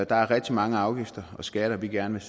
der er rigtig mange afgifter og skatter vi gerne